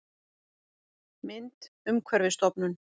Mynd: Umhverfisstofnun